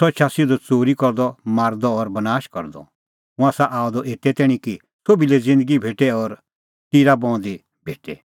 सह एछा सिधअ च़ोरी करदअ मारदअ और बनाशा करदअ हुंह आसा आअ द एते तैणीं कि सोभी लै ज़िन्दगी भेटे और टिराबहूंदी भेटे